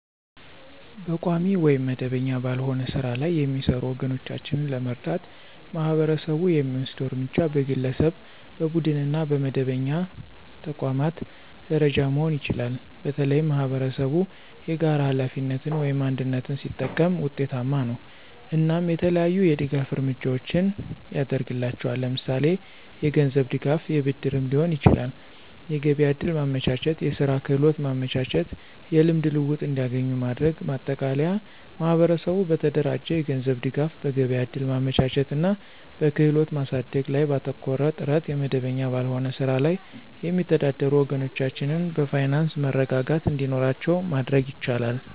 በቋሚ ወይም መደበኛ ባልሆነ ሥራ ላይ የሚሰሩ ወገኖቻችንን ለመርዳት ማህበረሰቡ የሚወስደው እርምጃ በግለሰብ፣ በቡድንና በመደበኛ ተቋማት ደረጃ መሆን ይችላል። በተለይም ማኅበረሰብ የጋራ ሀላፊነትን (አንድነት) ሲጠቀም ውጤታማ ነው። እናም የተለያዩ የድጋፍ እርምጃዎችን ያድርግላቸዋል ለምሳሌ የገንዝብ ድጋፍ የብድርም ሊሆን ይችላል። የገቢያ ዕድል ማመቻቸት፣ የስራ ክህሎት ማመቻቸት። የልምድ ልውውጥ እንዲገኙ ማድረግ። ማጠቃለያ ማህበረሰቡ በተደራጀ የገንዘብ ድጋፍ፣ በገበያ እድል ማመቻቸት እና በክህሎት ማሳደግ ላይ ባተኮረ ጥረት የመደበኛ ባልሆነ ስራ ላይ የሚተዳደሩ ወገኖቻችን የፋይናንስ መረጋጋት እንዲኖራቸው ማድረግ ይቻላል።